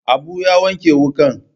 Abu ya wanke wukan.